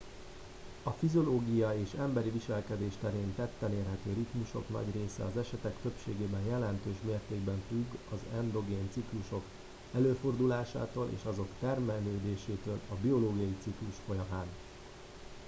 a fiziológia és emberi viselkedés terén tetten érhető ritmusok nagy része az esetek többségében jelentős mértékben függ az endogén ciklusok előfordulásától és azok termelődésétől a biológiai ciklus folyamán